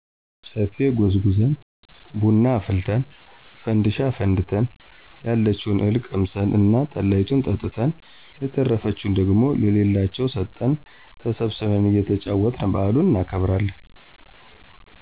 ጨፌ ጎዝጉዘን፣ ብና አፍልተን፣ ፈንድሻ አፈንድተን፣ ያለችውን እህል ቀምሰን እና ጠላይቱን ጠጥተን የተረፈችውን ደግሞ ለሌላቸው ሰጠን ተሰብስበን እየተጫወትን በዓሉን እናከብራለን።